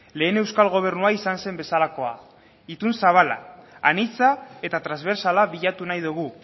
lehen euskal gobernua izan zen bezalakoa itun zabala anitza eta transbertsala bilatu nahi dugu